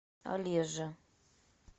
олежа